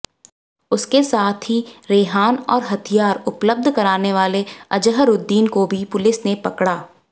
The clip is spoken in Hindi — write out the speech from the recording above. उसके साथी रेहान और हथियार उपलब्ध कराने वाले अजहरुद्दीन को भी पुलिस ने पकड़ा